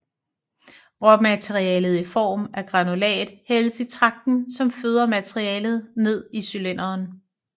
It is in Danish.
Råmaterialet i form af granulat hældes i tragten som føder materialet ned til cylinderen